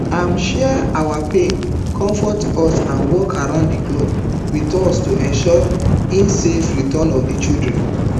im share our pain conmfort us and work round di clock wit us to ensure si safe return of di children